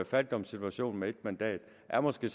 fattigdomssituationen med ét mandat er måske